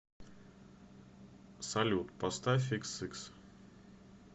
салют поставь икс сикс